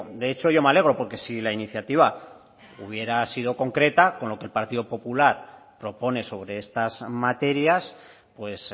de hecho yo me alegro porque si la iniciativa hubiera sido concreta con lo que el partido popular propone sobre estas materias pues